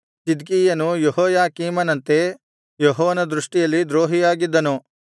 ಚಿದ್ಕೀಯನು ಯೆಹೋಯಾಕೀಮನಂತೆ ಯೆಹೋವನ ದೃಷ್ಟಿಯಲ್ಲಿ ದ್ರೋಹಿಯಾಗಿದ್ದನು